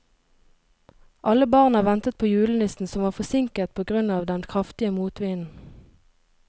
Alle barna ventet på julenissen, som var forsinket på grunn av den kraftige motvinden.